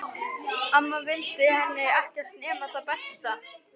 Amma vildi henni ekkert nema það besta.